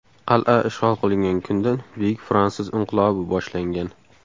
Qal’a ishg‘ol qilingan kundan Buyuk fransuz inqilobi boshlangan.